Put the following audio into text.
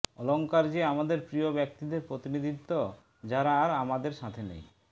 অলঙ্কার যে আমাদের প্রিয় ব্যক্তিদের প্রতিনিধিত্ব যারা আর আমাদের সাথে নেই